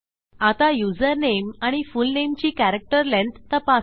आता युजरनेम आणि फुलनेमची कॅरेक्टर लेंग्थ तपासू